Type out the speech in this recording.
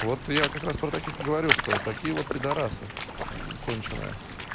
вот я как раз про таких и говорю что такие вот пидарасы конченая